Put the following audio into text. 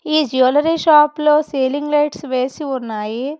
ఈ jewellery shop లో ceiling lights వేసి ఉన్నాయి.